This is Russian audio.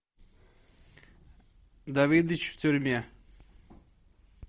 давидыч в тюрьме